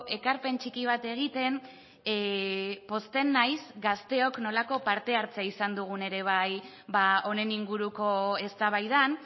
ekarpen txiki bat egiten pozten naiz gazteok nolako parte hartzea izan dugun ere bai honen inguruko eztabaidan